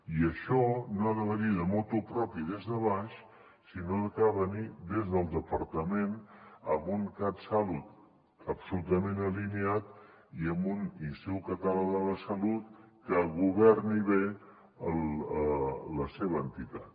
i això no ha de venir de motu proprio des de baix sinó que ha de venir des del departament amb un catsalut absolutament alineat i amb un institut català de la salut que governi bé la seva entitat